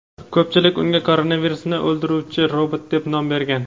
Ko‘pchilik unga koronavirusni o‘ldiruvchi robot deb nom bergan.